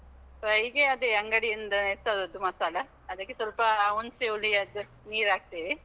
fry ಗೆ ಅದೇ ಅಂಗಡಿಯಿಂದನೇ ತರುದು ಮಸಾಲ, ಅದಕ್ಕೆ ಸ್ವಲ್ಪ ಹುಣ್ಸೆ ಹುಳಿಯದ್ದು ನೀರು ಹಾಕ್ತೇವೆ.